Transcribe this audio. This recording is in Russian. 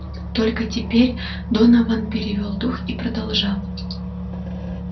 только теперь донован перевёл дух и продолжал